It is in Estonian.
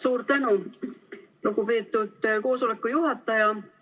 Suur tänu, lugupeetud koosoleku juhataja!